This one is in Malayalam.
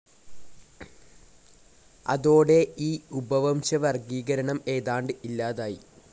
അതോടെ ഈ ഉപവംശ വർഗീകരണം ഏതാണ്ട് ഇല്ലാതായി.